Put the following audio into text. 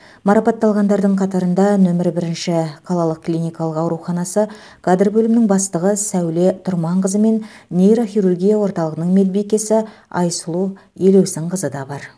марапатталғандардың қатарында нөмір бірінші қалалық клиникалық ауруханасы кадр бөлімінің бастығы сәуле тұрманқызы мен нейрохирургия орталығының медбикесі айсұлу елеусінқызы да бар